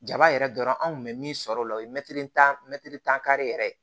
Jaba yɛrɛ dɔrɔn an kun be min sɔrɔ o la o ye mɛtiri tan mɛ tan kari yɛrɛ